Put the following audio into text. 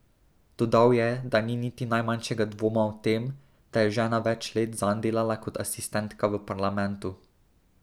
Dodal je, da ni niti najmanjšega dvoma o tem, da je žena več let zanj delala kot asistentka v parlamentu.